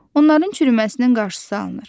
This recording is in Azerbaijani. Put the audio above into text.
Onların çürüməsinin qarşısı alınır.